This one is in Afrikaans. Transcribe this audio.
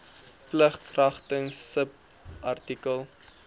plig kragtens subartikel